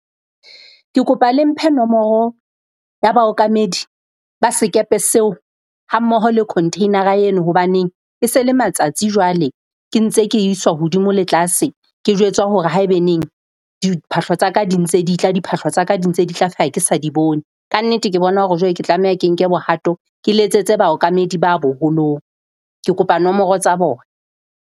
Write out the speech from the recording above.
Ke kopa le mphe nomoro ya baokamedi ba sekepe seo ha mmoho le container-ra eno. Hobaneng e se le matsatsi jwale ke ntse ke iswa hodimo le tlase. Ke jwetswa hore haebaneng diphahlo tsa ka di ntse di tla, diphahlo tsa ka di ntse di tla, feela ke sa di bone. Kannete, ke bona hore jwale ke tlameha ke nke bohato, ke letsetse baokamedi ba boholong. Ke kopa nomoro tsa bona.